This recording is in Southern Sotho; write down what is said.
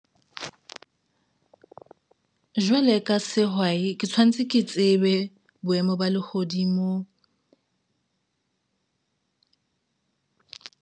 Jwale ka sehwai ke tshwantse ke tsebe boemo ba lehodimo.